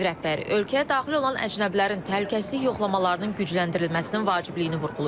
Ağ Ev rəhbəri ölkəyə daxil olan əcnəbilərin təhlükəsizlik yoxlamalarının gücləndirilməsinin vacibliyini vurğulayıb.